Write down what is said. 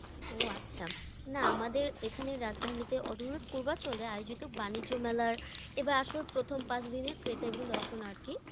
ও আচ্ছা। না আমাদের এখানের রাজধানীতে অদূরে পূর্বাচলে আয়োজিত বানিজ্য মেলার এবার আসলে প্রথম পাঁচদিনে ক্রেতা এবং দর্শনার্থী